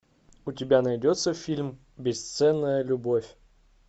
у тебя найдется фильм бесценная любовь